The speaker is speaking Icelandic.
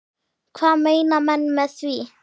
Hvað meina menn með því?